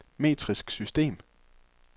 metrisk system